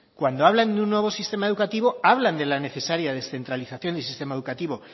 cuando hablan de un nuevo sistema educativo hablan de la necesaria descentralización del sistema educativo